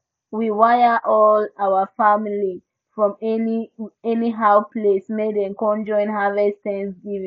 we wire all our family from anyhow place make dem come join harvest thanksgiving